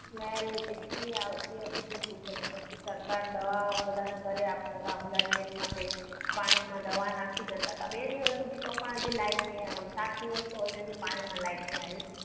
smell એટલી આવતી હતી કે શું કરીએ પછી સરકાર દવાઓ બધાના ઘરે આપતી સાથે blood test માટે, પાણીમાં દવા નાખી જતા હતા. બે દિવસ સુધી તો પાણીમાં તો લાઈટ નથી આવતું. સાત દિવસ તો already પાણીમાં લાઈટ નહિ આવ્યું.